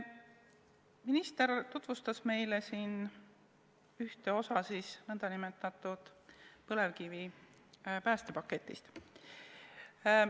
Minister tutvustas meile siin ühte osa nn põlevkivi päästmise paketist.